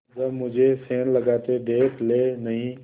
हाँ जब मुझे सेंध लगाते देख लेनहीं